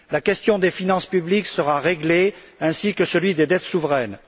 La question des finances publiques sera réglée, ainsi que celle des dettes souveraines.